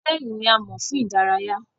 Hotẹẹli ni àmo fun idaraya.